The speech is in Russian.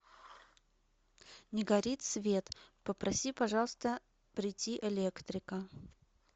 не горит свет попроси пожалуйста прийти электрика